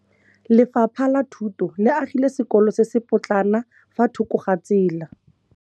Lefapha la Thuto le agile sekôlô se se pôtlana fa thoko ga tsela.